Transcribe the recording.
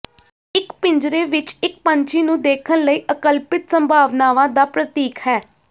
ਇੱਕ ਪਿੰਜਰੇ ਵਿੱਚ ਇੱਕ ਪੰਛੀ ਨੂੰ ਦੇਖਣ ਲਈ ਅਕਲਪਿਤ ਸੰਭਾਵਨਾਵਾਂ ਦਾ ਪ੍ਰਤੀਕ ਹੈ